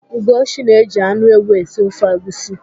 Ugochi na-eji anụ ewu esi ofe egwusi.